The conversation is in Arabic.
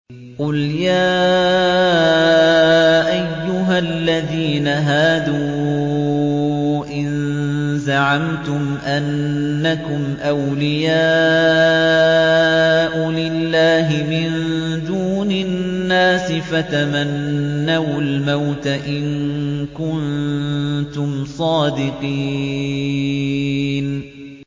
قُلْ يَا أَيُّهَا الَّذِينَ هَادُوا إِن زَعَمْتُمْ أَنَّكُمْ أَوْلِيَاءُ لِلَّهِ مِن دُونِ النَّاسِ فَتَمَنَّوُا الْمَوْتَ إِن كُنتُمْ صَادِقِينَ